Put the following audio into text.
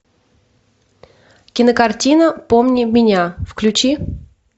кинокартина помни меня включи